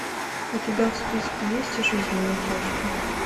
у тебя в списке есть жизни матрешки